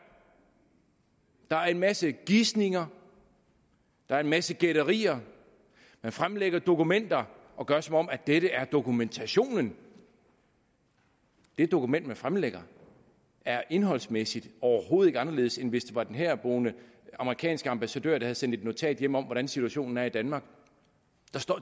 der er en masse gisninger der er en masse gætterier man fremlægger dokumenter og gør som om dette er dokumentationen men det dokument man fremlægger er indholdsmæssigt overhovedet ikke anderledes end hvis det var den herboende amerikanske ambassadør der havde sendt et notat hjem om hvordan situationen er i danmark